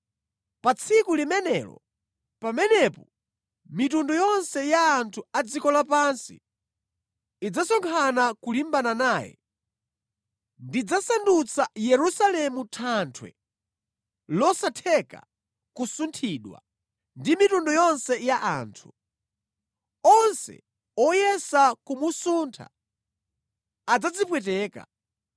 Pa tsiku limenelo, pamene mitundu yonse ya anthu a dziko lapansi idzasonkhana kulimbana naye, ndidzasandutsa Yerusalemu thanthwe losatheka kusunthidwa ndi mitundu yonse ya anthu. Onse oyesa kumusuntha adzadzipweteka.